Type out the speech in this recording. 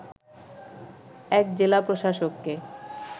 ১ জেলা প্রশাসককে